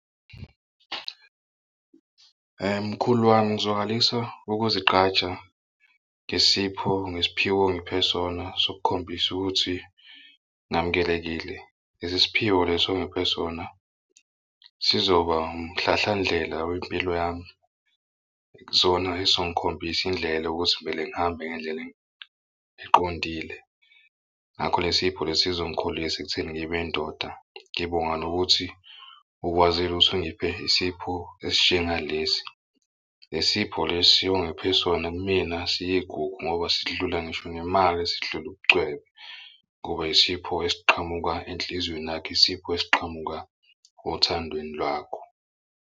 Mkhulu wami, ngizwakalisa ukuzigqaja ngesipho ngesiphiwo ongiphe sona sokukhombisa ukuthi ngamukelekile lesi siphiwo leso ongiphe sona sizoba lo umhlahlandlela wempilo yami. Zona esizongikhombisa indlela yokuthi vele ngihambe ngendlela eqondile. Ngakho le sipho lesi sizongikhulisa ekutheni ngibe indoda. Ngibonga nokuthi ukwazile ukuthi ungiphe isipho esinjengalesi. Le sipho lesi ongiphe sona kumina siyigugu ngoba sidlula ngisho nemali sidlule ubucwebe. Kube isipho esiqhamuka enhliziyweni yakho isipho esiqhamuka othandweni lwakho.